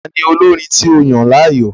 Tani olorin tí o yan láàyò?